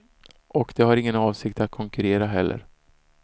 Och de har ingen avsikt att konkurrera heller.